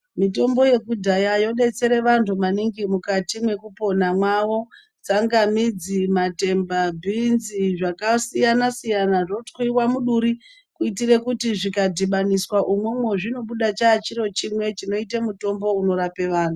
Mitombo yekudhaya yobetsire vantu maningi mukati mekupona mavo, tsangamidzi, matemba, bhinzi, zvakasiyana-siyana zvotwiwa muduri kuitira kuti zvikatibaniswa imomo chinobuda chaa chiro chimwe chete chinoite mutombo unorape vantu.